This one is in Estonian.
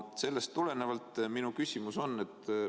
Sellest tulenevalt on minu küsimus selline.